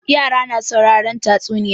Yara na sauraren tatsunniya.